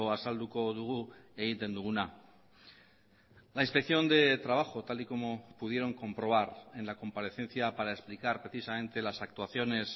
azalduko dugu egiten duguna la inspección de trabajo tal y como pudieron comprobar en la comparecencia para explicar precisamente las actuaciones